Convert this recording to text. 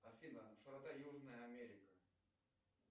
афина широта южная америка